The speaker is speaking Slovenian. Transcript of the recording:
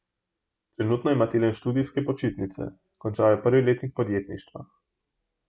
Trenutno ima Tilen študijske počitnice, končal je prvi letnik podjetništva.